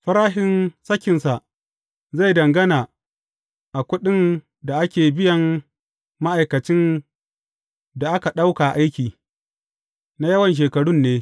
Farashin sakinsa zai dangana a kuɗin da ake biyan ma’aikacin da aka ɗauka aiki, na yawan shekarun ne.